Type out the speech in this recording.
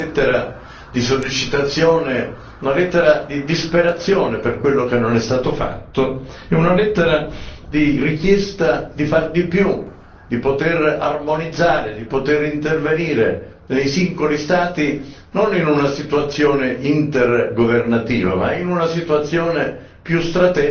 Si tratta in pratica di una lettera di sollecitazione, se non di disperazione per quello che non è stato fatto, una lettera di richiesta di fare di più, di poter armonizzare, di poter intervenire per i singoli Stati non in una situazione intergovernativa, ma in una situazione